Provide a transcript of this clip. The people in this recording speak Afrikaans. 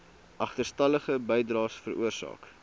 agterstallige bydraes veroorsaak